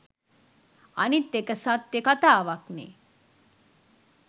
අනිත් එක සත්‍ය කතාවක්නේ